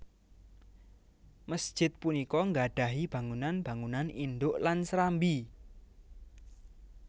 Masjid punika nggadhahi bangunan bangunan indhuk lan serambi